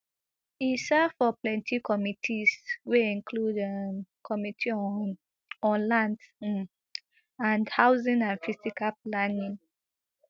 e serve for plenty committees wey include um committee on on lands um and housing and physical planning